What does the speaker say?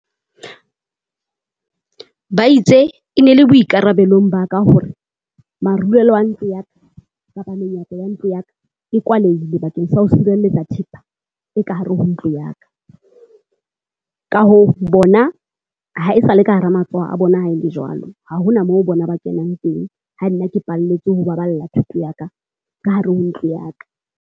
Ba itse e ne le boikarabelong ba ka hore marulelo a ntlo ya ka, kapa menyaka ya ntlo ya ka e kwalehile bakeng sa ho sireletsa thepa e ka hare ho tlo ya ka. Ka hoo bona ha e sa le ka hara matsoho a bona ha e le jwalo, ha ho na mo bona ba kenang teng. Ha nna ke palletswe ho baballa thoto ya ka ka hare ho ntlo ya ka.